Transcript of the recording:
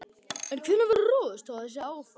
En hvenær verður ráðist í þessi áform?